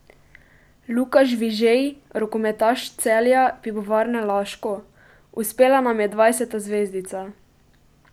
Luka Žvižej, rokometaš Celja Pivovarne Laško: "Uspela nam je dvajseta zvezdica.